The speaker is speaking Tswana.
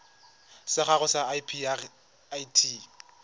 sa gago sa irp it